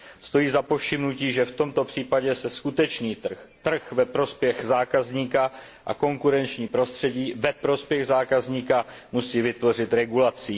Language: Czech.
Stojí za povšimnutí, že v tomto případě se skutečný trh, trh ve prospěch zákazníka a konkurenční prostředí ve prospěch zákazníka musí vytvořit regulací.